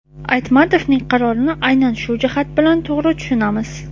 Aytmatovning qarorini aynan shu jihat bilan to‘g‘ri tushunamiz.